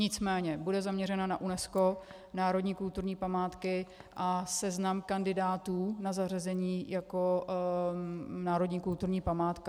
Nicméně bude zaměřena na UNESCO, národní kulturní památky a seznam kandidátů na zařazení jako národní kulturní památka.